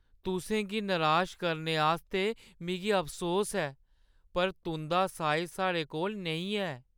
तुसें गी निराश करने आस्तै मिगी अफसोस ऐ पर तुंʼदा साइज़ साढ़े कोल नेईं है।